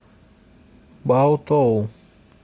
баотоу